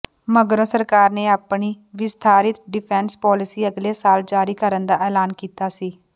ਮਗਰੋਂ ਸਰਕਾਰ ਨੇ ਆਪਣੀ ਵਿਸਥਾਰਿਤ ਡਿਫੈਂਸ ਪੌਲਿਸੀ ਅਗਲੇ ਸਾਲ ਜਾਰੀ ਕਰਨ ਦਾ ਐਲਾਨ ਕੀਤਾ ਸੀ